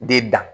De dan